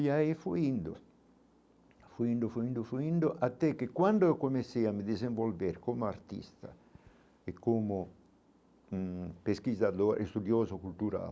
E aí fui indo, fui indo, fui indo, fui indo, até que quando eu comecei a me desenvolver como artista e como hum pesquisador estudioso cultural,